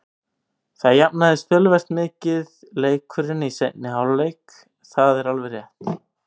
Það jafnaðist töluvert mikið leikurinn í seinni hálfleik, það er alveg rétt.